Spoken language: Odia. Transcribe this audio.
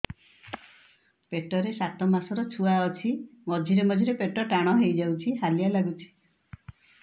ପେଟ ରେ ସାତମାସର ଛୁଆ ଅଛି ମଝିରେ ମଝିରେ ପେଟ ଟାଣ ହେଇଯାଉଚି ହାଲିଆ ଲାଗୁଚି